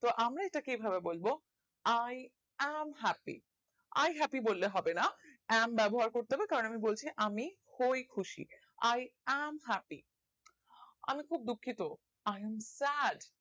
তো আমরা এটাকে এইভাবে বলব i am happy i happy বললে হবে না i am ব্যবহার করতে হবে কারণ বলছে আমি হয় খুশি i am happy আমি খুব দুঃখিত i am sad